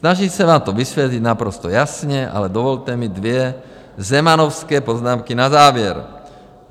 Snažím se vám to vysvětlit naprosto jasně, ale dovolte mi dvě zemanovské poznámky na závěr.